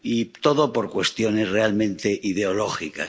Y todo por cuestiones realmente ideológicas.